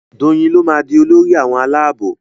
Doyin ló má dì Olórí àwọn Àlàabò.